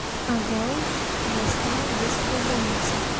огауз областная детская больница